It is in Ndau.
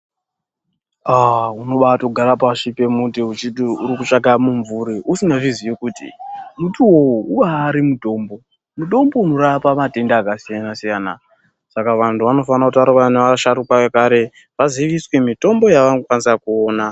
Aah umobatogara pashi pemuti weiti uri kutsvaka mumvuri usingazvizii kuti mutiwo uwowo umbari mutombo, mutombo unorapa matenda akasiyana-siyana saka vantu vanofanora kutaura nevasharuka vekare vaziviswe mitombo yavanokwanisa kuona.